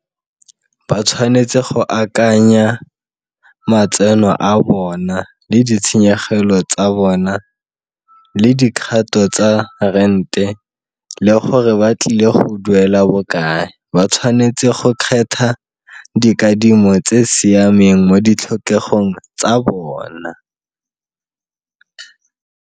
Ba tshwanetse go akanya matseno a bona, le ditshenyegelo tsa bona le dikgato tsa rente, le gore ba tlile go duela bokae. Ba tshwanetse go kgetha dikadimo tse siameng mo ditlhokegong tsa bona.